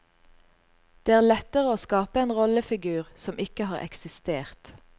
Det er lettere å skape en rollefigur som ikke har eksistert.